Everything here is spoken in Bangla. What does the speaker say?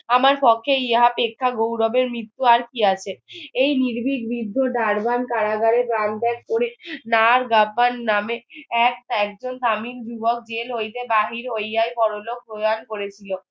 আমার পক্ষে ইহা অপেক্ষা গৌরবের মৃত্যু আর কি আছে? এই নির্ভিক বিদ্ধ কারাগারে প্রাণ ত্যাগ করে গাব্বার নামে এক এক জন জেল হইতে বাহির হইয়াই পরলোক করিয়াছিল